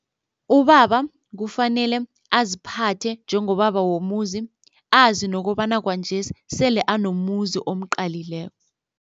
Ubaba kufanele aziphathe njengobaba womuzi azi nokobana kwanjesi sele anomuzi omqalileko.